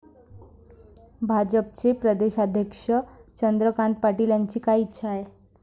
भाजपचे प्रदेशाध्यक्ष चंद्रकांत पाटील यांची काय इच्छा आहे?